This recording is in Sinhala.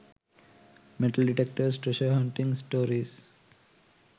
metal detectors treasure hunting stories